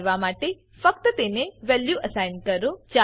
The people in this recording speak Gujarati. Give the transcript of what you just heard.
આ કરવા માટે ફક્ત તેને નવી વેલ્યુ અસાઇન કરો